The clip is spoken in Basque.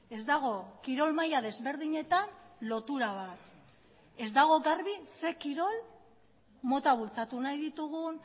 ez dago kirol maila desberdinetan lotura bat ez dago garbi zein kirol mota bultzatu nahi ditugun